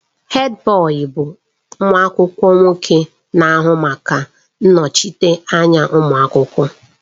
Hèdbọyi bụ nwa akwụkwọ nwoke na-ahụ maka ịnọchite anya ụmụ akwụkwọ.